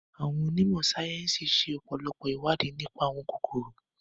Àwon onímọ̀ sáyẹ́nsì ṣe ọpọlọpọ ìwádìí nipa àwọn kòkòrò